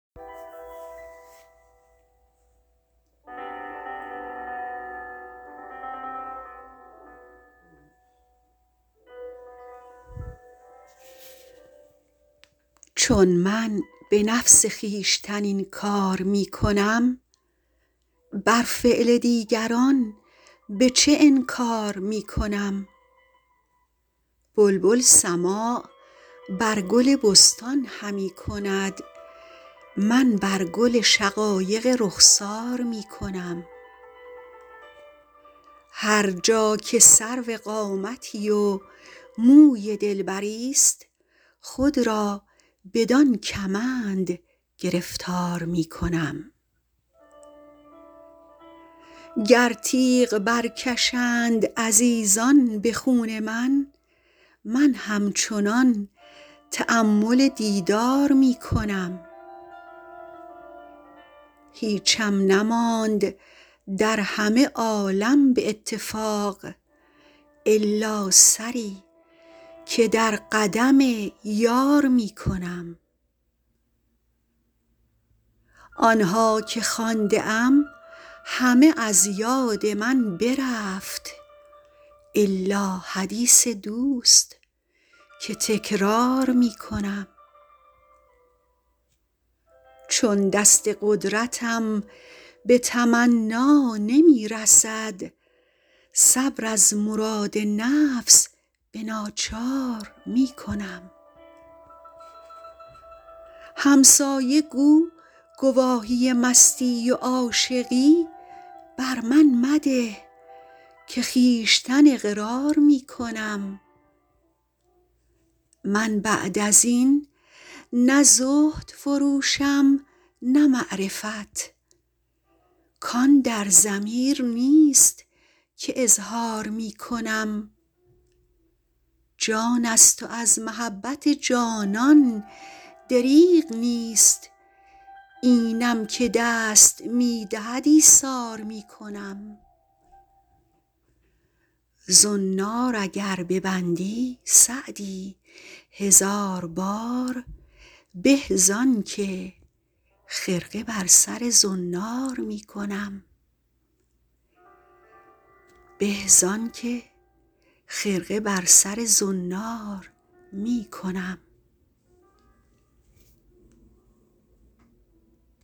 چون من به نفس خویشتن این کار می کنم بر فعل دیگران به چه انکار می کنم بلبل سماع بر گل بستان همی کند من بر گل شقایق رخسار می کنم هر جا که سرو قامتی و موی دلبریست خود را بدان کمند گرفتار می کنم گر تیغ برکشند عزیزان به خون من من همچنان تأمل دیدار می کنم هیچم نماند در همه عالم به اتفاق الا سری که در قدم یار می کنم آن ها که خوانده ام همه از یاد من برفت الا حدیث دوست که تکرار می کنم چون دست قدرتم به تمنا نمی رسد صبر از مراد نفس به ناچار می کنم همسایه گو گواهی مستی و عاشقی بر من مده که خویشتن اقرار می کنم من بعد از این نه زهد فروشم نه معرفت کان در ضمیر نیست که اظهار می کنم جان است و از محبت جانان دریغ نیست اینم که دست می دهد ایثار می کنم زنار اگر ببندی سعدی هزار بار به زان که خرقه بر سر زنار می کنم